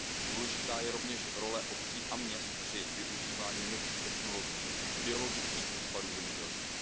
Důležitá je rovněž role obcí a měst při využívání nových technologií, biologických odpadů v zemědělství.